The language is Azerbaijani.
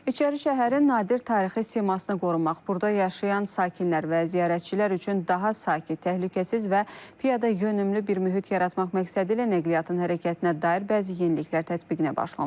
İçərişəhərin nadir tarixi simasını qorumaq, burada yaşayan sakinlər və ziyarətçilər üçün daha sakit, təhlükəsiz və piyadayönümlü bir mühit yaratmaq məqsədilə nəqliyyatın hərəkətinə dair bəzi yeniliklər tədbiqinə başlanılıb.